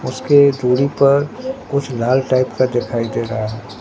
उसके दूरी पर कुछ लाल टाइप का दिखाई दे रहा--